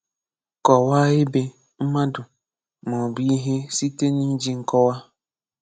Kọ̀wàà ebè, mmadụ̀, mà ọ̀ bụ̀ ihè sitè n’ijì nkòwà.